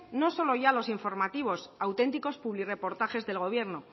no solo ya los informativos auténticos publirreportajes del gobierno